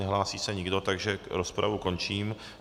Nehlásí se nikdo, takže rozpravu končím.